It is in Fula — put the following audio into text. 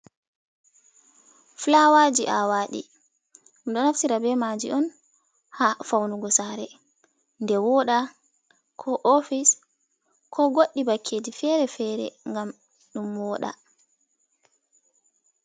Flawaji aawaɗi ɗo naftira be maji on ha faunugo sare nde woɗa ko ofis ko goɗɗi bakkeji fere-fere ngam ɗum woɗa.